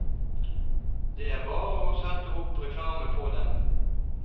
Det er bare å sette opp reklame på dem.